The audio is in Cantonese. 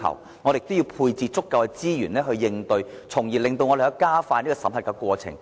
此外，我們亦要配置足夠的資源應對，從而加快審核過程。